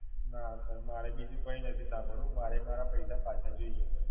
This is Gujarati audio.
ના Sir મારે બીજું કઈ નથી સાંભળવું. મારે મારા પૈસા પાછા જોઈએ છે.